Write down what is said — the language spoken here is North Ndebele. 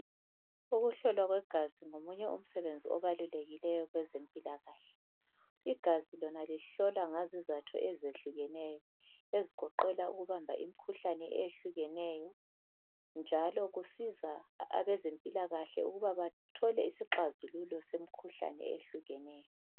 Ukuhlolwa kwegazi ngomunye umsebenzi obalulekileyo kwezempilakahle , igazi lona lihlolwa ngazizatho ezahlukeneyo ezigoqela ukubamba imikhuhlane eyehlukeneyo njalo kusiza abezempilakahle ukuba bathole izixazululo semkhuhlane ehlukeneyo